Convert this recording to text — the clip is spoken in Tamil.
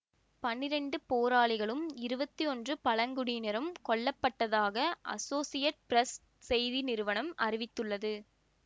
பன்னிரெண்டு போராளிகளும் இருபத்தி ஒன்று பழங்குடியினரும் கொல்ல பட்டதாக அசோசியேட்டட் பிரஸ் செய்தி நிறுவனம் அறிவித்துள்ளது